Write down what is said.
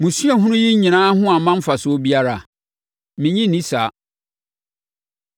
Mo suahunu yi nyinaa ho amma mfasoɔ biara? Mennye nni saa.